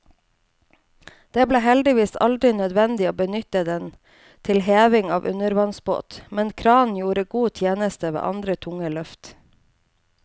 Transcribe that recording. Det ble heldigvis aldri nødvendig å benytte den til heving av undervannsbåt, men kranen gjorde god tjeneste ved andre tunge løft.